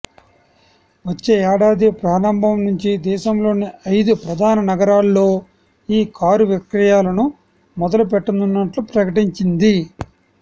వచ్చే ఏడాది ప్రారంభం నుంచి దేశంలోని ఐదు ప్రధాన నగరాల్లో ఈ కారు విక్రయాలను మొదలుపెట్టనున్నట్లు ప్రకటించింది